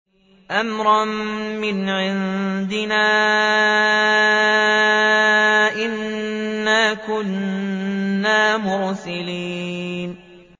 أَمْرًا مِّنْ عِندِنَا ۚ إِنَّا كُنَّا مُرْسِلِينَ